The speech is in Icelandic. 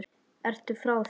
Ertu frá þér!